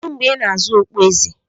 Kedu mgbe ị na-azụ okpueze?